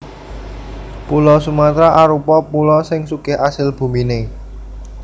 Pulo Sumatra arupa pulo sing sugih asil buminé